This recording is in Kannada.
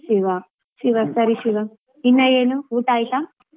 ಶಿವಾ ಶಿವಾ ಸರಿ ಶಿವಾ ಇನ್ನಾ ಏನು ಊಟಾ ಆಯ್ತಾ?